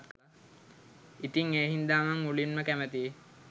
ඉතිං ඒ හින්දා මං මුලින්ම කැමතියි